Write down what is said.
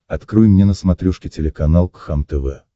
открой мне на смотрешке телеканал кхлм тв